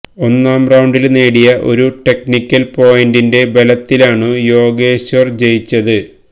ഒന്നാം റൌണ്ടില് നേടിയ ഒരു ടെക്നിക്കല് പോയിന്റിന്റെ ബലത്തിലാണ് യോഗേശ്വര് ജയിച്ചത്